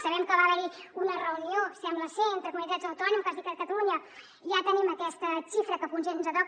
sabem que va haver hi una reunió sembla ser entre comunitats autònomes i que a catalunya ja tenim aquesta xifra que potser ens toca